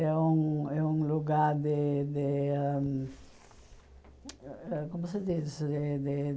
É um é um lugar de de ãh hum... Como se diz de de?